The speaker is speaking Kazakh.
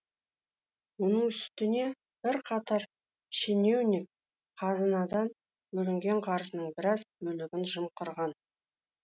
оның үстіне бірқатар шенеунік қазынадан бөлінген қаржының біраз бөлігін жымқырған